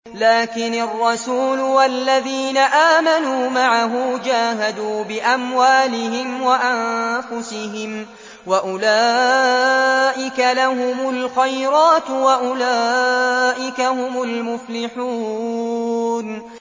لَٰكِنِ الرَّسُولُ وَالَّذِينَ آمَنُوا مَعَهُ جَاهَدُوا بِأَمْوَالِهِمْ وَأَنفُسِهِمْ ۚ وَأُولَٰئِكَ لَهُمُ الْخَيْرَاتُ ۖ وَأُولَٰئِكَ هُمُ الْمُفْلِحُونَ